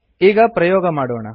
ಈಗ ಪ್ರಯೋಗ ಮಾಡೋಣ